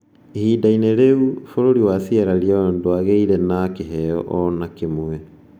Ihinda-inĩ rĩu, bũrũri wa Sierra Leone ndwagĩire na kĩheo o na kĩmwe.